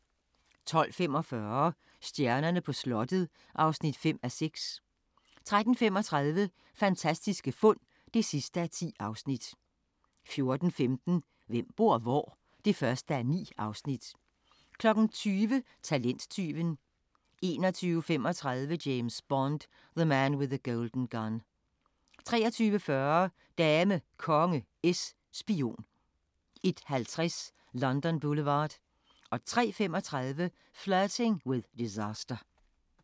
12:45: Stjernerne på slottet (5:6) 13:35: Fantastiske fund (10:10) 14:15: Hvem bor hvor? (1:9) 20:00: Talenttyven 21:35: James Bond: The Man with the Golden Gun 23:40: Dame, Konge, Es, Spion 01:50: London Boulevard 03:35: Flirting with Disaster